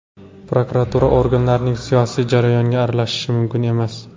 Prokuratura organlarining siyosiy jarayonga aralashishi mumkin emas.